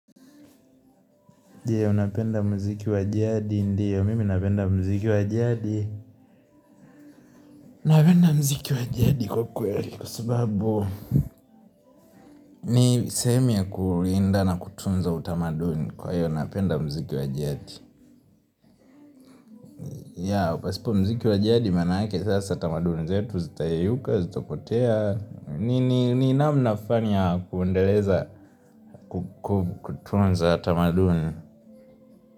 Ndio, napenda mziki wa jadi. Ndio, mimi napenda mziki wajadi. Unapenda mziki wajadi kwa kweli. Kwa sababu, ni sehemu ya kulinda na kutunza utamaduni. Kwa hiyo, napenda mziki wa jadi. Ya, pasipo mziki wa jadi, manake sasa tamaduni. Zetu, zitayeyuka, zitapotea. Ninamna flani ya kuendeleza kutunza tamaduni.